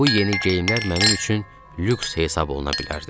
Bu yeni geyimlər mənim üçün lüks hesablana bilərdi.